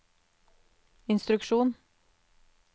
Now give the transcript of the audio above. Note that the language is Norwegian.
instruksjon